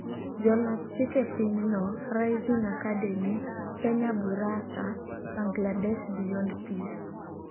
Jolos chike pinyno, Rising Academy, Kenya Busara, Bangladesh Beyond Peace